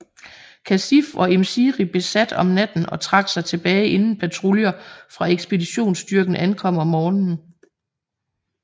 Khasif og Im Siri besat om natten og trak sig tilbage inden patruljer fra ekspeditionsstyrken ankom om morgenen